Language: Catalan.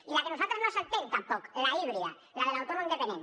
i la que per nosaltres no s’entén tampoc l’híbrida la de l’autònom dependent